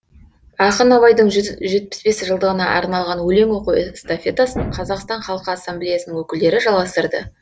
ақын абайдың жүз жетпіс бес жылдығына арналған өлең оқу эстафетасын қазақстан халқы ассамблеясының өкілдері жалғастырды